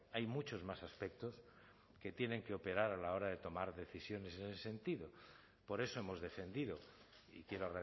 hay muchos más aspectos que tienen que operar a la hora de tomar decisiones en ese sentido por eso hemos defendido y quiero